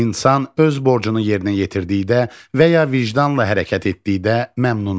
İnsan öz borcunu yerinə yetirdikdə və ya vicdanla hərəkət etdikdə məmnun olur.